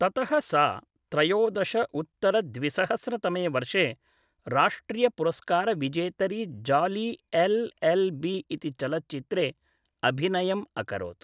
ततः सा त्रयोदश उत्तर द्विसहस्र तमे वर्षे राष्ट्रियपुरस्कारविजेतरि जाली एल् एल् बी इति चलच्चित्रे अभिनयम् अकरोत् ।